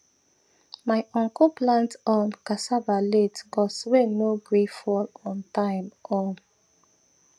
my uncle plant um cassava late cos rain no gree fall ontime um